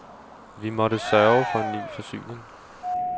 Vi måtte sørge for en ny forsyning.